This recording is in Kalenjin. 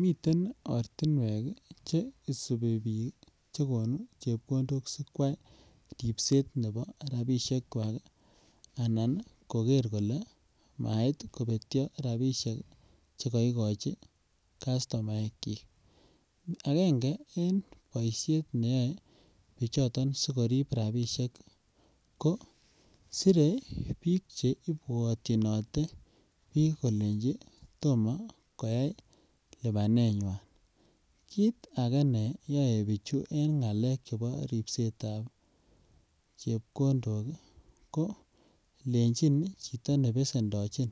Miten ortinwek che isubi biik che konu chepkondok sikwai ripset nebo rapisiekwak anan kogerer kole mait kobetyo rapisiek chekoikochi kastomaekyik. Agenge en boisiet neyoe bichoton sigorip rapisiek ko sire biik che ibwatyinote biik kolenji tomo koyai lubanenywan. Kit age neyoe biichu eng ngalek chebo ripsetab chepkondok kolenchin chito ne besendochin